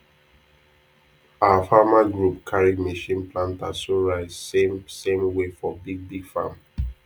our farmer group carry machine planter sow rice same same way for big big farm